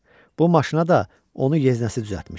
Bu maşına da onu yeznəsi düzəltmişdi.